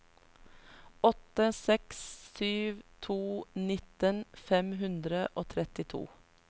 åtte seks sju to nitten fem hundre og trettito